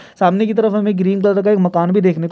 सामने की तरफ हमें एक ग्रीन कलर का एक मकान भी देखने को --